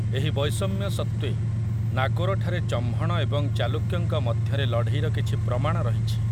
ଏହି ବୈଷମ୍ୟ ସତ୍ତ୍ୱେ, ନାଗୋରଠାରେ ଚହ୍ମଣ ଏବଂ ଚାଲୁକ୍ୟଙ୍କ ମଧ୍ୟରେ ଲଢ଼େଇର କିଛି ପ୍ରମାଣ ରହିଛି ।